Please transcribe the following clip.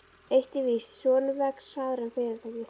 Eitt er víst: Sonurinn vex hraðar en fyrirtækið.